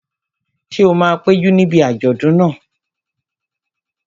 Ṣé o máa péjú níbi àjọ̀dún náà?